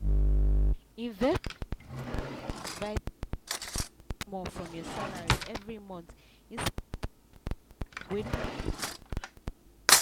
investors dey always advise make you save small from your salary every month inside savings account wey dem go lock